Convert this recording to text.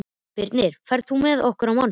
Birnir, ferð þú með okkur á mánudaginn?